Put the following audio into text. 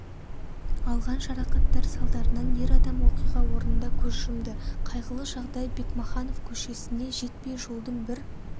алған жарақаттар салдарынан ер адам оқиға орнында көз жұмды қайғылы жағдай бекмаханов көшесіне жетпей жолдың бір